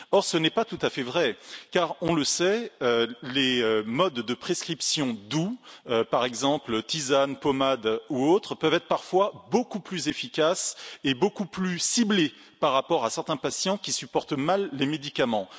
Or, ce n'est pas tout à fait vrai car, on le sait, des modes de prescription doux, par exemple, tisanes, pommades ou autres peuvent être parfois beaucoup plus efficaces et beaucoup plus ciblés chez certains patients qui supportent mal les médicaments.